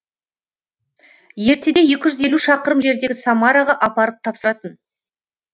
ертеде шақырым жердегі самараға апарып тапсыратын